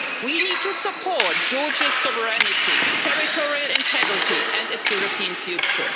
We need to support Georgia's sovereignty, territorial integrity and its European future.